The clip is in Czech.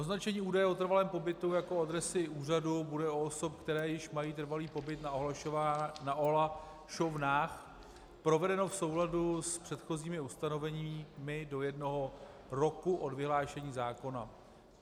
Označení údaje o trvalém pobytu jako adresy úřadu bude u osob, které již mají trvalý pobyt na ohlašovnách, provedeno v souladu s předchozími ustanoveními do jednoho roku od vyhlášení zákona.